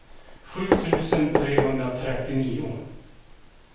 sju tusen trehundratrettionio